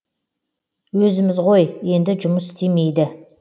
өзіміз ғой енді жұмыс істемейді